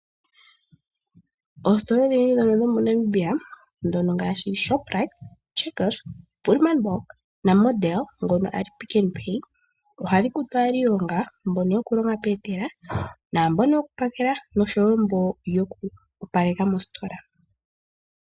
Oostola odhindji ndhono dho moNamibia dhono ngaashi Shopright, Checkers, Woerman block na Model ngono ali Pick n Pay ohadhi kutu aaniilonga mbono yokulonga peetela naambono yoku pakela noshowo mbono yoku opaleka mostola.